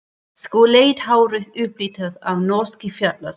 Skolleitt hárið upplitað af norskri fjallasól.